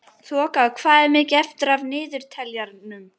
Þoka, hvað er mikið eftir af niðurteljaranum?